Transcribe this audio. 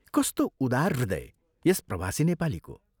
कस्तो उदार हृदय यस प्रवासी नेपालीको?